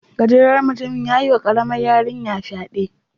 Gajeren mutumin yayi wa karamar yarinya fyade.